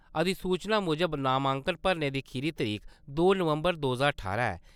अधिसूचना मुजब नामांकन भरने दी खीरी तरीक दो नवम्बर दो ज्हार ठारां ऐ।